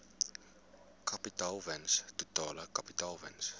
kapitaalwins totale kapitaalwins